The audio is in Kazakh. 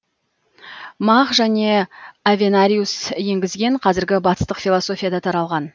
мах және авенариус еңгізген қазіргі батыстық философияда таралған